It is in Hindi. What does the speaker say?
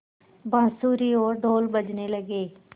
बाँसुरी और ढ़ोल बजने लगे